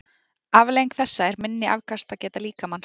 Afleiðing þessa er minni afkastageta líkamans.